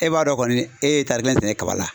E b'a dɔn kɔni e ye tari kelen sɛnɛ kaba la.